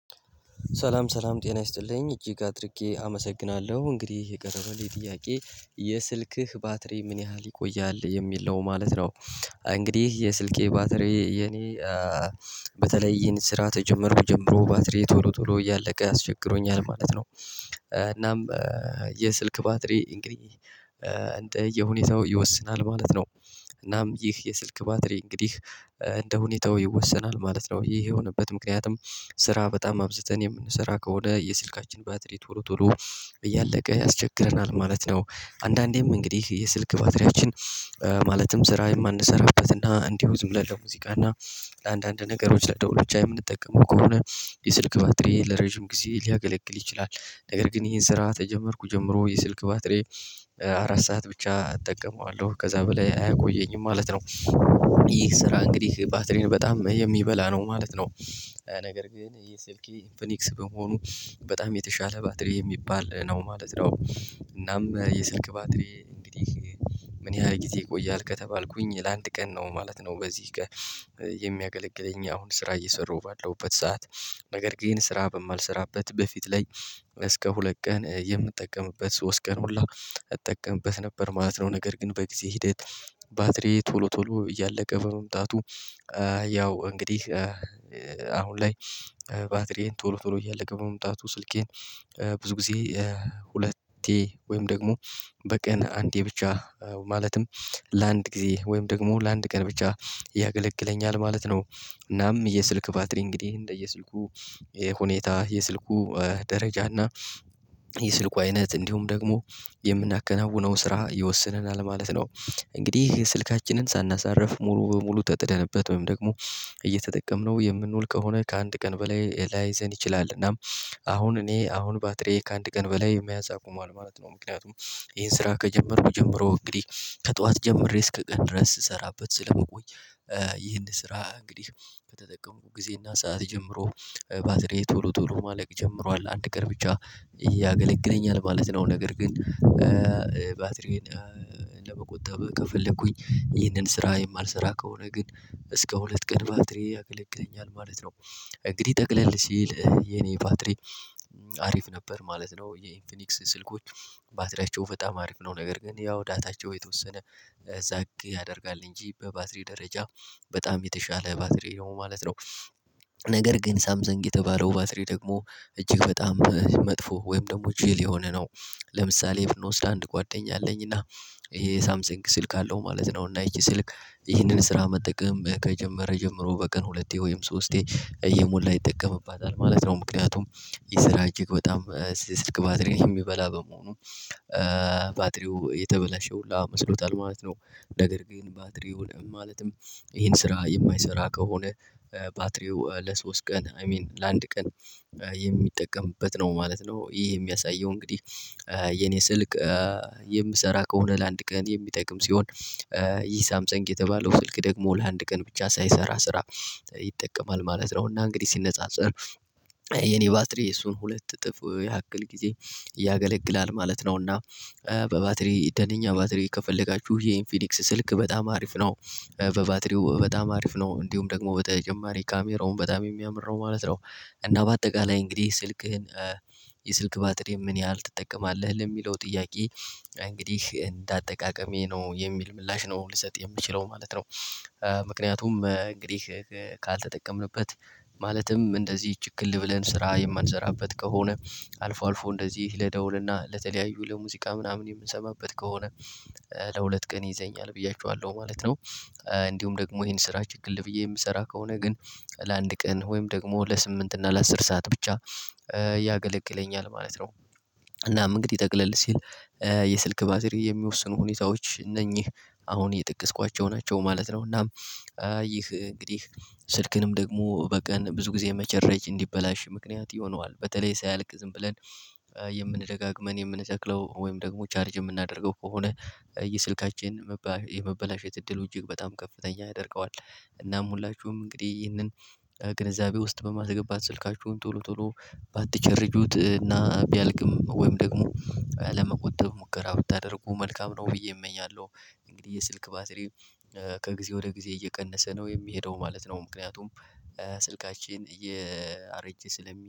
ሰላም ሰላም ጤና ይስጥልኝ እጅግ አድርጌ አመሰግናለሁ እንግዲህ የቀረበልኝ ጥያቄ የስልክህ ባትሪ ምን ያህል ይቆያል የሚል ነው ማለት ነው? እንግዲህ የስልኬ ባትሪ የኔ በተለይ ይሄን ስራ ከጀመርኩ ጀምሮ ባትሪዬ ቶሎ ቶሎ እያለቀ አስቸግሮኛል ማለት ነው። እናም የስልክ ባትሪ እንግዲህ እንደየሁኔታው ይወስናል ማለት ነው። እናም ይህ የስልክ ባትሪ እንግዲህ እንደ ሁኔታው ይወሰናል ማለት ነው። ይሄ የሆነበት ምክንያቱም ስራ በጣም አብዝተን የምንሰራ ከሆነ የስልካችን ባትሪ ቶሎ ቶሎ እያለቀ ያስቸግረናል ማለት ነው። አንዳንዴም እንግዲህ የስልክ ባትሪያችን ማለትም ስራ የማንሰራበት እና እንዲሁ ዝም ብለን ለሙዚቃ እና ለአንዳንድ ነገሮች ለደውል የምንጠቀመው ከሆነ የስልክ ባትሪ ለረጅም ጊዜ ሊያገለግል ይችላል። ነገር ግን ይሄን ስራ ከጀመርኩ ጀምሮ የስልክ ባትሬ አራት ሰዓት ብቻ አጠቀመዋለሁ ከዛ በላይ አያቆየኝም ማለት ነው። ስራ እንግዲህ ባትሪን በጣም የሚበላ ነው ማለት ነው። ነገር ግን የስልኬ ኢንፊኒክስ በመሆኑ በጣም የተሻለ ባትሪ የሚባል ነው ማለት ነው። እናም የስልክ ባትሪ እንግዲህ ምን ያህል ጊዜ ይቆያል ከተባልኩኝ ለአንድ ቀን ነው ማለት ነው። በዚህ ቀን የሚያገለግለኝ አሁን ስራ እየሰራሁ ባለውበት ሰዓት ነገር ግን ስራ በማልሰራበት በፊት ላይ እስከ ሁለት ቀን የምጠቀምበት ሶስት ቀን ሁላ እጠቀምበት ነበር ማለት ነው። ነገር ግን በጊዜ ሂደት ባትሪዬ ቶሎ ቶሎ እያለቀ በመምጣቱ ያው እንግዲህ አሁን ላይ ባትሪዬ ቶሎ ቶሎ እያለቀ በመምጣቱ ስልኬን ብዙ ጊዜ ሁለቴ ወይም ደግሞ በቀን አንዴ ብቻ ማለትም ለአንድ ጊዜ ወይም ደግሞ ለአንድ ቀን ብቻ ያገለግለኛል ማለት ነው። እናም የስልክ ባትሪ እንግዲህ እንደየስልኩ ሁኔታ የስልኩ ደረጃ እና የስልኩ አይነት እንዲሁም ደግሞ የምናከናውነው ስራ ይወስነናል ማለት ነው። እንግዲህ ስልካችንን ሳናሳርፍ ሙሉ በሙሉ ተጥደንበት ወይም ደግሞ እየተጠቀምነው የምንውል ከሆነ ከአንድ ቀን በላይ ላይዘን ይችላል እናም አሁን እኔ አሁን ባትሪዬ ከአንድ ቀን በላይ መያዝ አቁሟል ማለት ነው። ምክንያቱም ይሄን ስራ ከጀመርኩ ጀምሮ እንግዲህ ከጠዋት ጀምሬ እስከ ቀን ድረስ ስሰራበት ስለምቆይ ይህን ስራ እንግዲህ ከተጠቀሙት ጊዜና ሰዓት ጀምሮ ባትሪ ቶሎ ቶሎ ማለቅ ጀምሯል አንድ ቀን ብቻ ያገለግለኛል ማለት ነው። ነገር ግን ባትሪዬን ለመቆጠብ ከፈለኩኝ ይህንን ስራ የማልሰራ ከሆነ ግን እስከ ሁለት ቀን ባትሪ ያገለግለኛል ማለት ነው። እንግዲህ ጠቅለል ሲል የኔ ባትሪ አሪፍ ነበር ማለት ነው። የኢንፊኒክስ ስልኮች ባትሪያቸው በጣም አሪፍ ነው ነገር ግን ያው ዳታቸው የተወሰነ እዛ ያደርጋል እንጂ በባትሪ ደረጃ በጣም የተሻለ ባትሪ ነው ማለት ነው። ነገር ግን ሳምስንግ የተባለው ባትሪ ደግሞ እጅግ በጣም መጥፎ ወይም ደግሞ ጅል የሆነ ነው። ለምሳሌ ብንወስድ አንድ ጓደኛ አለኝ እና ይሄ ሳምሰንግ ስልክ አለው ማለት ነው። እና ይቺ ስልክ ይህንን ስራ መጠቀም ከጀመረ ጀምሮ በቀን ሁለቴ ወይም ሶስቴ እየሞላ ይጠቀምባታል ማለት ነው ምክንያቱም ይህ ስራ እጅግ በጣም የስልክ ባትሪ የሚበላ በመሆኑ ባትሪው የተበላሸ ሁሉ መስሎታል ማለት ነው። ነገር ግን ባትሪው ለምን ማለትም ይሄን ስራ የማይሰራ ከሆነ ባትሪው ለሶስት ቀን አይ ሚን ለአንድ ቀን የሚጠቀምበት ነው ማለት ነው። ይሄ የሚያሳየው እንግዲህ የኔ ስልክ የምሰራ ከሆነ ለአንድ ቀን የሚጠቅም ሲሆን። ይህ ሳምሰንግ የተባለው ስልክ ደግሞ ለአንድ ቀን ብቻ ሳይሰራ ስራ ይጠቀማል ማለት ነው። እና እንግዲህ ሲነጻጸር የኔ ባትሪ የሱን ሁለት እጥፍ ያክል ጊዜ ያገለግላል ማለት ነው። እና በባትሪ ደነኛ ባትሪ ከፈለጋችሁ ይኢንፊኒክስ ስልክ በጣም አሪፍ ነው። በባትሪው በጣም አሪፍ ነው እንዲሁም ደግሞ በተጨማሪ ካሜራውም በጣም የሚያምር ነው ማለት ነው። እና በአጠቃላይ እንግዲህ ስልክህን የስልክ ባትሪ ምን ያህል ትጠቀማለህ ለሚለው ጥያቄ እንግዲህ እንደ አጠቃቀሜ ነው የሚል ምላሽ ነው ልሰጥ የምችለው ማለት ነው። እንግዲህ ካልተጠቀምንበት ማለትም እንደዚህ ችክል ብለን ስራ የማንሰራበት ከሆነ አልፎ አልፎ እንደዚህ ለደውልና ለተለያዩ ለሙዚቃ ምናምን የምንሰማበት ከሆነ ለሁለት ቀን ይዘኛል ብያችኋለሁ ማለት ነው። እንዲሁም ደግሞ ይሄን ስራ ችክል ብዬ የምሰራ ከሆነ ግን ለአንድ ቀን ወይም ደግሞ ለስምንት እና ለአስር ሰዓት ብቻ ያገለግለኛል ማለት ነው። እናም እንግዲህ ጠቅለል ሲል የስልክ ባትሪ የሚወስኑ ሁኔታዎች እነኚህ አሁን የጠቀስኳቸው ናቸው ማለት ነው። እናም ይህ እንግዲህ ስልክንም ደግሞ በቀን ብዙ ጊዜ መቼረጅ እንዲበላሽ ምክንያት ይሆነዋል በተለይ ሳያልቅ ዝም ብለን የምንደጋገመን የምንተክለው ወይም ደግሞ ቻርጅ የምናደርገው ከሆነ የስልካችን የመበላሸት እድሉ እጅግ በጣም ከፍተኛ ያደርገዋል። እናም ሁላችሁም እንግዲህ ይህንን ግንዛቤ ውስጥ በማስገባት ስልካችሁን ቶሎ ቶሎ ባትጀርጁት እና ቢያልቅም ወይም ደግሞ ለመቆጠብ ሙከራ ብታደርጉ መልካም ነው ብዬ እመኛለሁ። እንግዲህ የስልክ ባትሪ ከጊዜ ወደ ጊዜ እየቀነሰ ነው የሚሄደው ማለት ነው ምክንያቱም ስልካችን እያረጀ ስለሚ